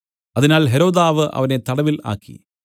അതിനാൽ ഹെരോദാവ് അവനെ തടവിൽ ആക്കി